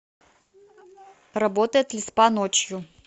работает ли спа ночью